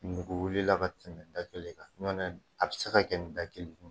Nugu wilila ka tɛmɛ da kelen kan, n'o tɛ a bɛ se ka kɛ nin da kelen